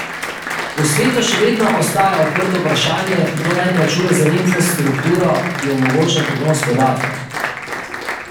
V svetu še vedno ostaja odprto vprašanje, kdo naj plača za infrastrukturo, ki omogoča prenos podatkov.